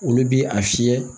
Olu bi a fiyɛ